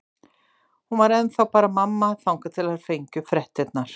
Hún var ennþá bara mamma, þangað til þær fengju fréttirnar.